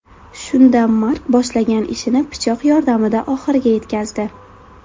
Shunda Mark boshlagan ishini pichoq yordamida oxiriga yetkazdi.